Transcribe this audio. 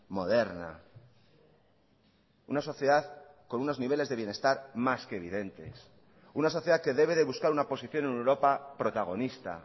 moderna una sociedad con unos niveles de bienestar más que evidentes una sociedad que debe de buscar una posición en europa protagonista